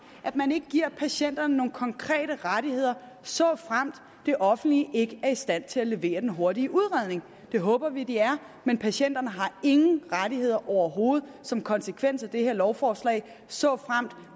at man ikke giver patienterne nogle konkrete rettigheder såfremt det offentlige ikke er i stand til at levere den hurtige udredning det håber vi de er men patienterne har ingen rettigheder overhovedet som konsekvens af det her lovforslag såfremt